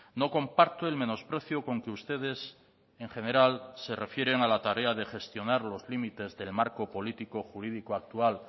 no comparto el menosprecio con que ustedes en general se refieren a la tarea de gestionar los límites del marco político jurídico actual